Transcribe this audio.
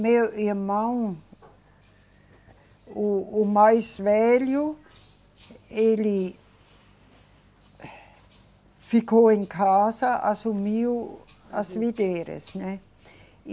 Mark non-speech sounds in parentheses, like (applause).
Meu irmão, o, o mais velho, ele (breath) ficou em casa, assumiu as videiras, né?